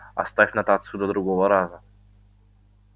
оставь нотацию до другого раза